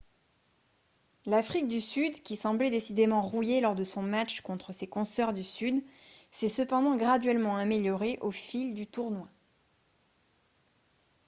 l'afrique du sud qui semblait décidément rouillée lors de son match contre ses consœurs du sud s'est cependant graduellement améliorée au fil du tournoi